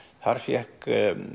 þar fékk